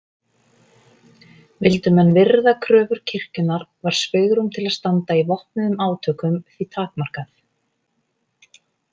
Vildu menn virða kröfur kirkjunnar var svigrúm til að standa í vopnuðum átökum því takmarkað.